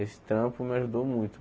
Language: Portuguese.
Esse trampo me ajudou muito.